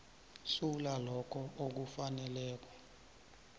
sula lokho okufaneleko